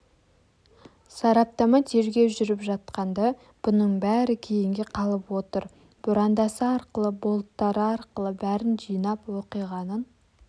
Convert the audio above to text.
сараптама тергеу жүріп жатқанда бұның бәрі кейінге қалып отыр бұрандасы арқылы болттары арқылы бәрін жинап оқиғаның